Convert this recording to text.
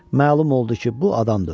Məlum oldu ki, bu adam da ölüb.